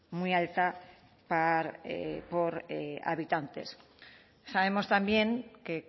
muy alta por habitantes sabemos también que